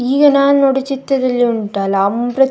ಈಗ ನಾನು ನೋಡಿದ ಚಿತ್ರದಲ್ಲಿ ಉಂಟಲ್ಲ ಅಮೃತ್.